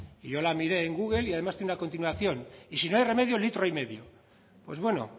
yo la miré en google y además tiene una continuación y si no hay remedio litro y medio pues bueno